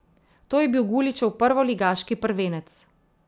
To je bil Guličev prvoligaški prvenec.